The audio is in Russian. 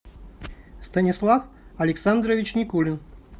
станислав александрович никулин